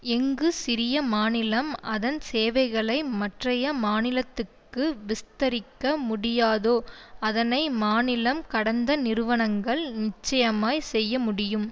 எங்கு சிறிய மாநிலம் அதன் சேவைகளை மற்றைய மாநிலத்துக்கு விஸ்தரிக்க முடியாதோ அதனை மாநிலம் கடந்த நிறுவனங்கள் நிச்சயமாய் செய்ய முடியும்